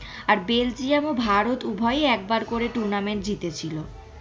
Belgium এবং ভারত উভয় একবার করে tournament জিতেছিল।